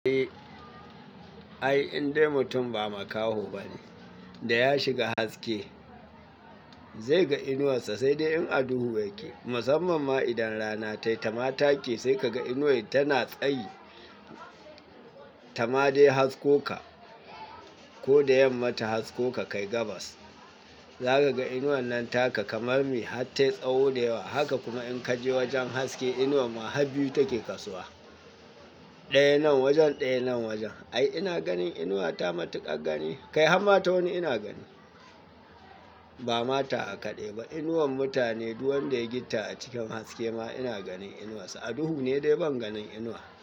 Ai indai mutum ba makaho bane da ya shiga haske zai ga inuwarsa sai dai in aduhu yake. Musamman ma idan rana tayi ta mataki sai ka ga inuwar tana tsayi ta ma dai hasko ka. Ko da yamma ta hasko ka kai gabas, za ka ga inuwan nan taka kamar me har tayi tsawo da yawa. Haka kuna in kaje wajen haske inuwa ma har biyu take kasuwa, daya nan wajen daya nan wajen. Ai ina ganin inuwa ta matuƙar gani, kai har mata wani ina gani. Bama tawa kaɗai ba, inuwar mutane duk wanda ya gifta a cikin haske ma ina ganin inuwarsa. Aduhu ne dai ban ganin inuwa.